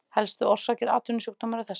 Helstu orsakir atvinnusjúkdóma eru þessar